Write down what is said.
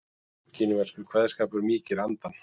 Kínverskur kveðskapur mýkir andann